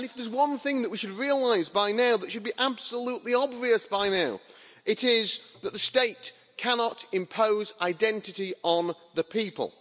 And if there's one thing that we should realise by now, that should be absolutely obvious by now, it is that the state cannot impose identity on the people.